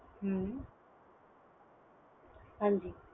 ਹਮ ਹਾਂਜੀ